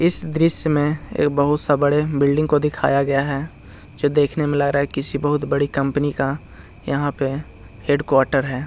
इस दृश्य में एक बहुत सा बड़े बिल्डिंग को दिखाया गया है जो देखने में लग रहाहै किसी बहुत बड़ी कंपनी का यहाँ पे हेड क्वार्टर है ।